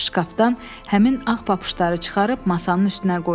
Şkafdan həmin ağ papışları çıxarıb masanın üstünə qoydu.